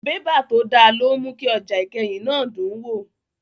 Bébà tó dá ló ń mú ọjà ìkẹyìn náà dùn wò